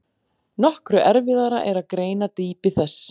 Nokkru erfiðara er að greina dýpi þess.